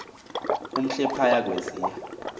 omhle phaya kweziya